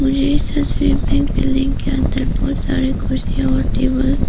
मुझे इस तस्वीर में एक बिल्डिंग के अंदर बहोत सारे कुर्सी टेबल --